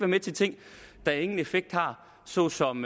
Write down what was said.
med til ting der ingen effekt har såsom